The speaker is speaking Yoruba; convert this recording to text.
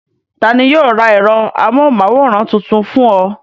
Ta ni yóò ra ẹ̀rọ amóhùmáwòhán tuntun fún ọ?